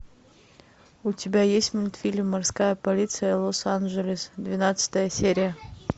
у тебя есть мультфильм морская полиция лос анджелес двенадцатая серия